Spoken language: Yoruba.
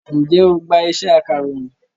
Ǹjẹ́ o gbá iṣẹ́ akàròyìn?